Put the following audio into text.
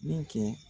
Den kɛ